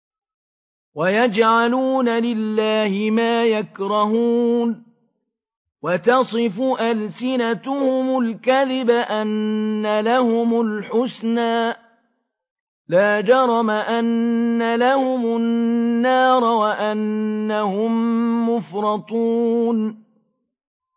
وَيَجْعَلُونَ لِلَّهِ مَا يَكْرَهُونَ وَتَصِفُ أَلْسِنَتُهُمُ الْكَذِبَ أَنَّ لَهُمُ الْحُسْنَىٰ ۖ لَا جَرَمَ أَنَّ لَهُمُ النَّارَ وَأَنَّهُم مُّفْرَطُونَ